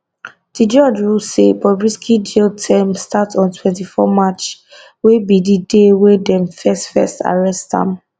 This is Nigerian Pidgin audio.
di judge rule say bobrisky jail term start on 24 march wey be di day wey dem first first arrest am